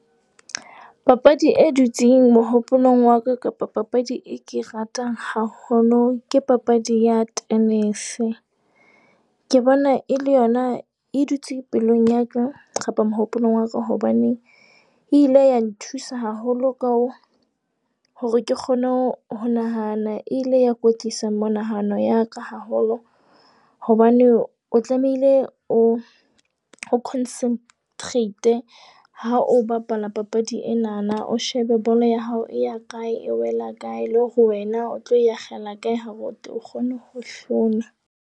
Papadi e dutseng mohopolong wa ka kapa papadi e ke e ratang haholo ke papadi ya tenese. Ke bona e le yona, e dutse pelong ya ka kapa mohopolo wa ka. Hobane e ile ya nthusa haholo ka hore ke kgone ho nahana, e ile ya kwetlisa monahano ya ka haholo, hobane o tlamehile o o concentrat-e ha o bapala papadi enana. O shebe bolo ya hao e ya kae, e wela kae le hore wena o tlo e akgela kae. Ha re teng o kgone ho hlola.